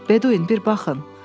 Bedvin, bir baxın.